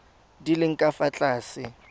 di leng ka fa tlase